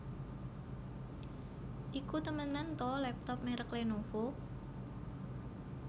Iku temenan ta laptop merek Lenovo?